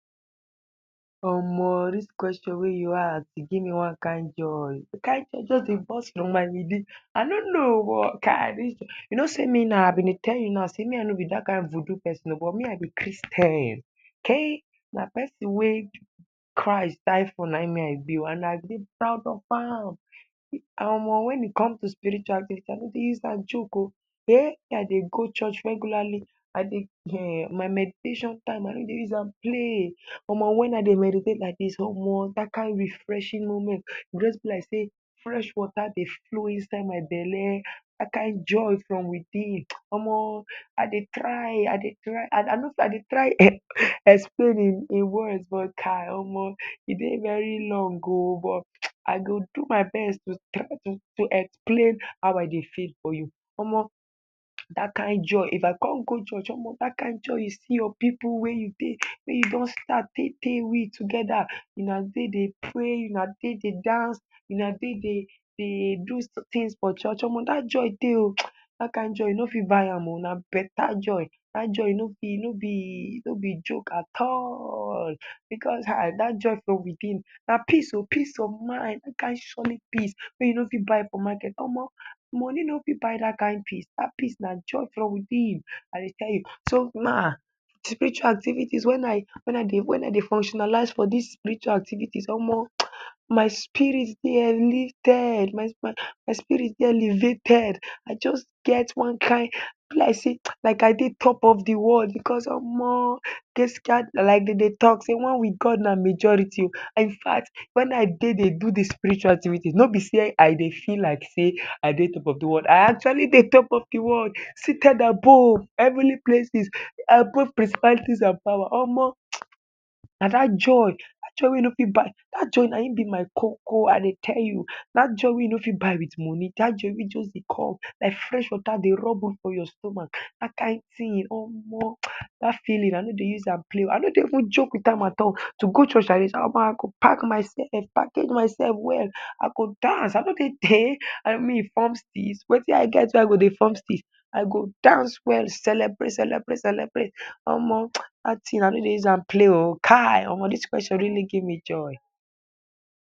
Omo! Dis kweshon wey you ask e give me one kin joy. De kin wey just dey burst my within. I no know oh! But kai! Dis… you know say me now, I been dey tell you na say me I no be dat kin voodoo pesin but me I be Christian. Me na pesin wey Christ die for — na him me I be oh! And I dey proud of am. Omo! When it comes to spirituality I no dey use am joke oh ehn! Me I dey go church regularly. I dey ehn! My meditation time I no dey use am play. Omo! When I dey meditate like dis, omo! Dat kin refreshing moment. E just be like say fresh water dey flow inside my belle. Dat kin joy from within. Omo! I dey try, I dey try… I no say I dey try explain in words but, kai! Omo! E dey very long oh! But [hisses] I go do my best to explain how I dey feel to you. Omo! Dat kin joy if I con go church omo! Dat kin joy if you con see your pipu wey you dey… wey you don start tay tay together. Una take dey pray. Una take dey dance. Una take dey do tins for church omo! Dat joy dey oh. Dat kin joy you no fit buy am oh! Na beta joy. Dat joy no be joke at all. Because hm! Dat joy from within na peace oh! Peace of mind. Dat kin surely peace wey you no fit buy for market omo! Moni no fit buy dat kin peace. Dat peace na joy from within I dey tell you. So, na spiritual activities. When I dey fuctionalize for dis spiritual activities, omo! My spirit dey lifted. My spirit dey elevated. I just get one kin! E be like say I dey top of de world. Because omo! Gaskiya na like dey dey talk say, de one with God na majority. Infact, when I dey do de spiritual activities no be say I dey feel like say I dey top of de world, I actually dey top of de world. Seated above. Heavenly places and power. Na dat joy. Dat joy wey you no fit buy… na him be my koko. I dey tell you. Dat joy wey you no fit buy with moni. Dat joy wey just dey come like fresh water dey rub for your stomach. Dat kin tin, omo! Dat feeling I no dey use am play oh! I no dey even joke with am at all. To go church omo! I go pack myself. Package myself well. I go dance. I no dey… hey! Me form steeze? Wetin I get wey I go dey form steeze? I go dance well, celebrate, celebrate, celebrate. Omo! Dat tin I no dey use am play oh! Kai! Omo! Dis kweshon really give me joy.